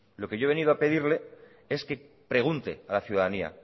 lo que yo he venido a pedirle es que pregunte a la ciudadanía